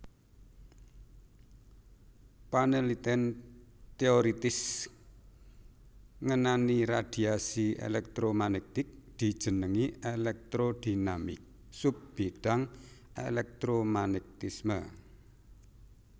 Panelitèn teoritis ngenani radiasi elektromagnetik dijenengi elektrodinamik sub bidang èlèktromagnetisme